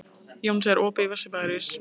Jónsi, er opið í Vesturbæjarís?